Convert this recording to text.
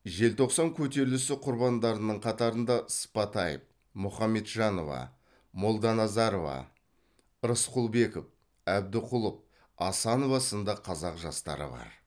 желтоқсан көтерілісі құрбандарының қатарында сыпатаев мұхамеджанова молданазарова рысқұлбеков әбдіқұлов асанова сынды қазақ жастары бар